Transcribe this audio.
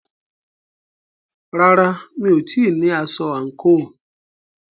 Rárá, mi ò tíì ní aṣọ àǹkóò.